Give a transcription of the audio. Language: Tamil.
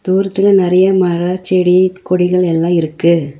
தூரத்துல நெறைய மர செடி கொடிகள் எல்லா இருக்கு.